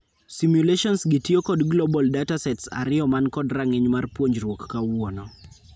Simulations gi tiyoo kod global datasets ariyo man kod rang'iny mar puonjruok kawuono.